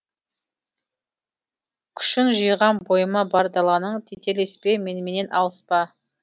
күшін жиғам бойыма бар даланың тетелеспе меніменен алыспа